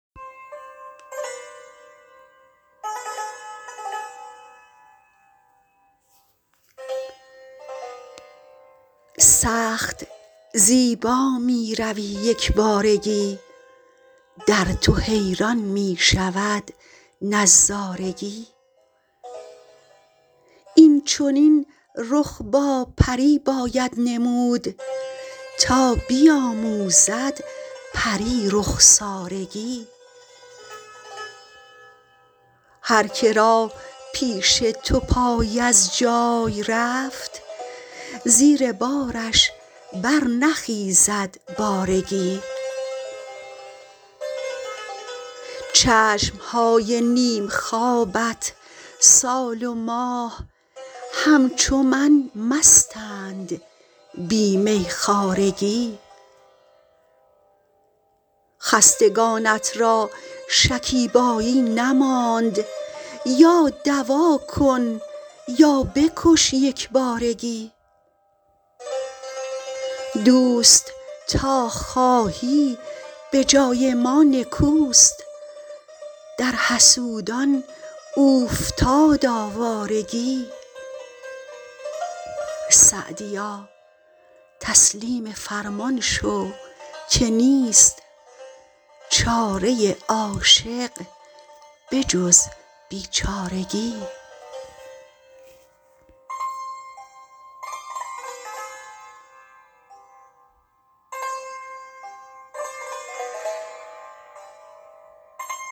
سخت زیبا می روی یک بارگی در تو حیران می شود نظارگی این چنین رخ با پری باید نمود تا بیاموزد پری رخسارگی هرکه را پیش تو پای از جای رفت زیر بارش برنخیزد بارگی چشم های نیم خوابت سال و ماه همچو من مستند بی میخوارگی خستگانت را شکیبایی نماند یا دوا کن یا بکش یک بارگی دوست تا خواهی به جای ما نکوست در حسودان اوفتاد آوارگی سعدیا تسلیم فرمان شو که نیست چاره عاشق به جز بیچارگی